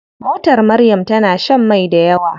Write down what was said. Motar Maryam tana shan mai dayawa.